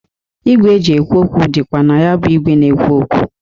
Igwe e ji ekwu okwu dịkwa na ya bụ igwe na-ekwu okwu.